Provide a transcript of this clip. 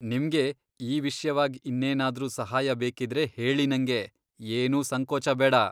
ನಿಮ್ಗೆ ಈ ವಿಷ್ಯವಾಗ್ ಇನ್ನೇನಾದ್ರೂ ಸಹಾಯ ಬೇಕಿದ್ರೆ ಹೇಳಿ ನಂಗೆ, ಏನೂ ಸಂಕೋಚ ಬೇಡ.